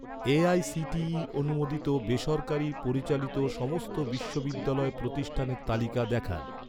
AICTE অনুমোদিত বেসরকারি পরিচালিত সমস্ত বিশ্ববিদ্যালয় প্রতিষ্ঠানের তালিকা দেখান